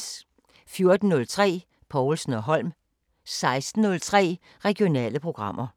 14:03: Povlsen & Holm 16:03: Regionale programmer